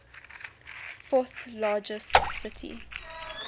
fourth largest city